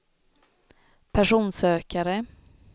personsökare